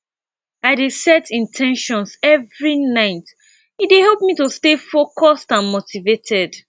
i dey set in ten tions every night e dey help me to stay focused and motivated